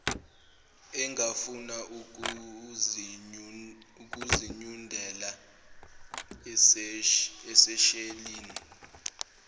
engafuna ukuzinyundela eseshelini